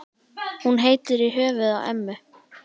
Hún heitir í höfuðið á ömmu.